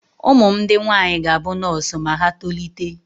Ụmụ m ndị nwaanyị ga-abụ nọọsụ ma ha tolite.